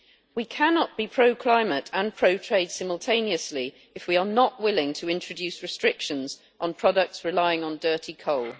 We cannot be pro climate and pro trade simultaneously if we are not willing to introduce restrictions on products relying on dirty coal.